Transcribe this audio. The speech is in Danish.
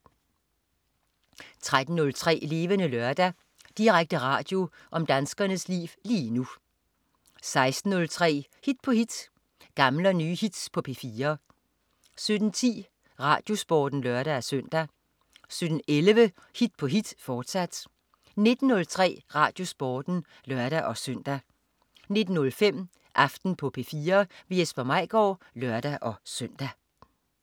13.03 Levende Lørdag. Direkte radio om danskernes liv lige nu 16.03 Hit på hit. Gamle og nye hits på P4 17.10 RadioSporten (lør-søn) 17.11 Hit på hit. Fortsat 19.03 RadioSporten (lør-søn) 19.05 Aften på P4. Jesper Maigaard (lør-søn)